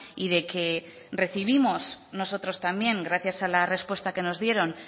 y de que recibimos nosotros también gracias a la respuesta que nos dieron